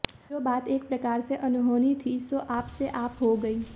जो बात एक प्रकार से अनहोनी थी सो आपसे आप हो गई